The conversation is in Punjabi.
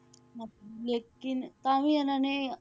ਲੇਕਿੰਨ ਤਾਂ ਵੀ ਇਹਨਾਂ ਨੇ,